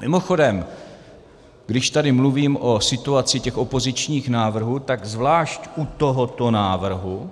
Mimochodem, když tady mluvím o situaci těch opozičních návrhů, tak zvlášť u tohoto návrhu